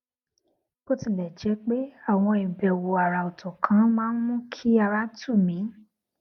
bó tilè jé pé àwọn ìbèwò àrà òtò kan máa ń mú kí ara tù mí